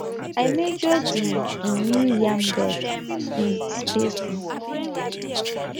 i measure the um new yam bed um spacing